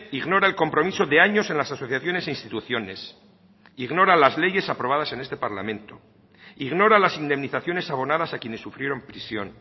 ignora el compromiso de años en las asociaciones e instituciones ignora las leyes aprobadas en este parlamento ignora las indemnizaciones abonadas a quienes sufrieron prisión